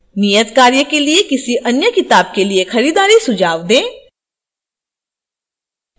नियतकार्य के लिए किसी अन्य किताब के लिए खरीदारी सुझाव दें